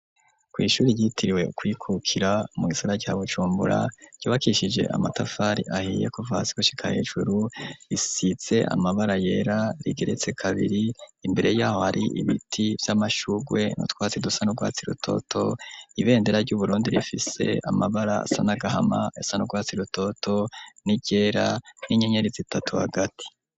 Kw ishuri yitiriwe kwikukira mugisagara ca Bujumbura ryubakishije amatafari ahiye kuva hasi gushika hejuru. Risize amabara yera rigeretse kabiri imbere y'aho hari ibiti vy'amashugwe nutwatsi dusa nurwatsi rutoto ibendera ryu Burundi rifise amabara asa nagahama isanurwatsi rutoto n'iryera n'inyenyerizitatu hagati.